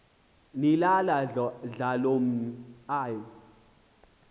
nilala mdlalomn l